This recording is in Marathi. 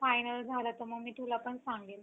final झालं तर मग मी तुला पण सांगेल